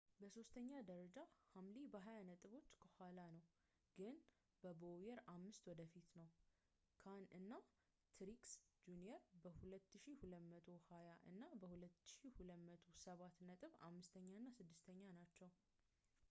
በሦስተኛ ደረጃ ሃምሊን በሃያ ነጥቦች ከኋላ ነው ግን ከቦውየር አምስት ወደፊት ነው ካን እና ትሪክስ ጁኒየር በ 2,220 እና 2,207 ነጥብ አምስተኛ እና ስድስተኛ ናቸው